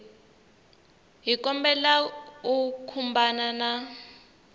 hi kombela u khumbana na